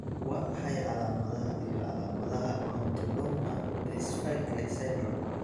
Waa maxay calaamadaha iyo calaamadaha Odontoma dysphagia syndrome?